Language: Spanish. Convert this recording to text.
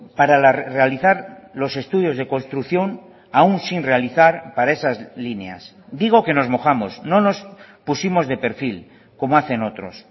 para realizar los estudios de construcción aun sin realizar para esas líneas digo que nos mojamos no nos pusimos de perfil como hacen otros